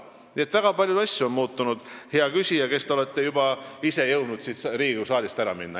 Nii et väga palju asju on muutunud, hea küsija, kes te olete ise jõudnud juba siit Riigikogu saalist ära minna.